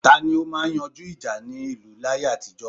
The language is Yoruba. Tani ó máa ń yanjú ìjà nínú ìlú láyé àtijó?